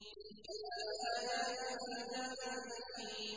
تِلْكَ آيَاتُ الْكِتَابِ الْحَكِيمِ